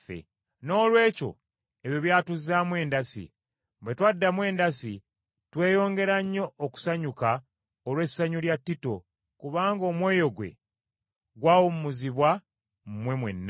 Noolwekyo ebyo byatuzzaamu endasi. Bwe twaddamu endasi, tweyongera nnyo okusanyuka olw’essanyu lya Tito, kubanga omwoyo gwe gwawummuzibwa mmwe mwenna.